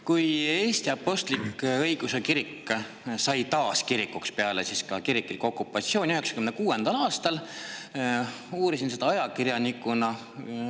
Kui Eesti Apostlik-Õigeusu Kirik sai taas kirikuks peale kiriklikku okupatsiooni 1996. aastal, siis ma uurisin seda ajakirjanikuna.